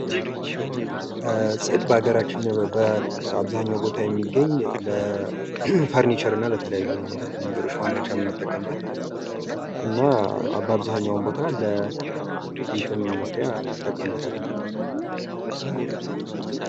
ፅድ በሀገራችን በአብዛኛው ቦታ የሚገኝ ለ ፈርኒቸርና ለተለያዩ ነገሮች ማምረቻ እንጠቀምበት እና በአብዛኛውም ቦታ ለቤትም መስሪያ እንጠቀምበታለን።